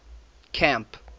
camp